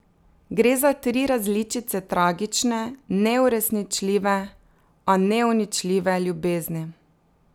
Gre za tri različice tragične, neuresničljive, a neuničljive ljubezni.